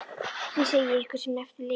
Því segi ég ykkur sem eftir lifið.